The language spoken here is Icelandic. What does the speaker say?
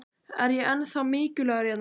Er ég ennþá mikilvægur hérna?